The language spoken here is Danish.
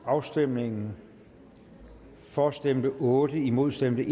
afstemningen for stemte otte imod stemte